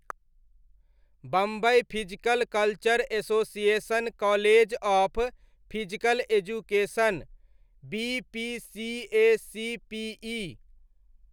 Bombay physical culture association college of physical education, BPCACPE.